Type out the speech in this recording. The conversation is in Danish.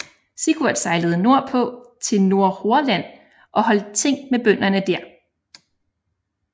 Sigurd sejlede nordpå til Nordhordland og holdt ting med bønderne der